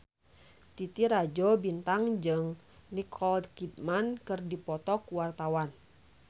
Titi Rajo Bintang jeung Nicole Kidman keur dipoto ku wartawan